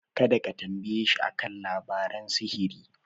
Kada ka tambayeshi a kan labaran sihiri.